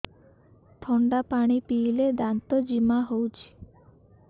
ଥଣ୍ଡା ପାଣି ପିଇଲେ ଦାନ୍ତ ଜିମା ହଉଚି